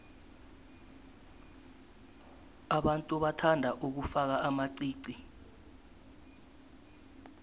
abantu bathanda ukufaka amaqiqi